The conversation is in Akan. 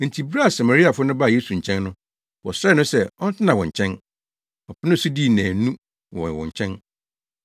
Enti bere a Samariafo no baa Yesu nkyɛn no, wɔsrɛɛ no sɛ ɔntena wɔn nkyɛn. Ɔpenee so dii nnaanu wɔ wɔn nkyɛn.